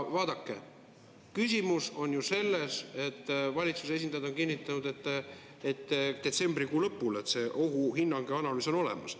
Vaadake, asi on ju selles, et valitsuse esindajad on kinnitanud detsembrikuu lõpul, et see ohuhinnang ja analüüs on olemas.